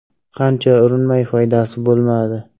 Qancha urinmay, foydasi bo‘lmadi.